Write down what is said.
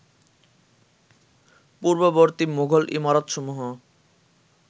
পূর্ববর্তী মুঘল ইমারতসমূহ